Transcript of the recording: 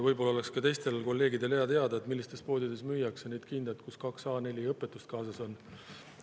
Võib-olla oleks ka teistel kolleegidel hea teada, millistes poodides müüakse neid kindaid, kus kaks A4 õpetust kaasas on.